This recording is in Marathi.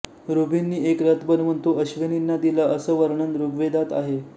ऋभूंनी एक रथ बनवून तो अश्विनींना दिला असं वर्णन ऋग्वेदात आहे